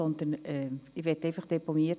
Folgendes möchte ich aber deponieren: